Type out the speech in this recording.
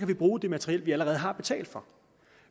vi bruge det materiel vi allerede har betalt for